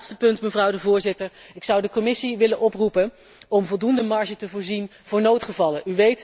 Het laatste punt, mevrouw de voorzitter, ik zou de Commissie willen oproepen om voldoende marge te voorzien voor noodgevallen.